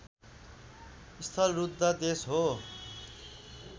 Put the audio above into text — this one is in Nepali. स्थलरूद्ध देश हो